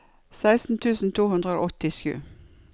seksten tusen to hundre og åttisju